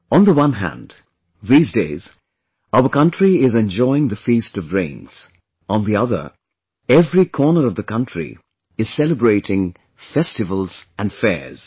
On the one hand, these days, our country is enjoying the feast of rains; on the other, every corner of the country is celebrating festivals and fairs